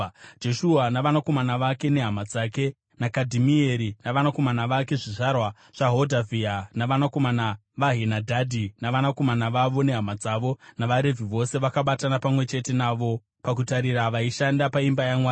Jeshua navanakomana vake nehama dzake naKadhimieri navanakomana vake (zvizvarwa zvaHodhavhia) navanakomana vaHenadhadhi navanakomana vavo nehama dzavo, navaRevhi vose vakabatana pamwe chete navo pakutarira vaishanda paimba yaMwari.